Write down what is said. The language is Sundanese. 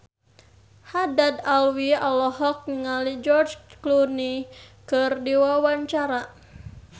Haddad Alwi olohok ningali George Clooney keur diwawancara